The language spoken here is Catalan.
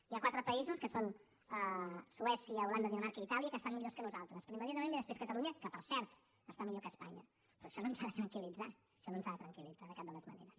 hi ha quatre països que són suècia holanda dinamarca i itàlia que estan millor que nosaltres però immediatament ve després catalunya que per cert està millor que espanya però això no ens ha de tranquil·litzar això no ens ha de tranquil·litzar de cap de les maneres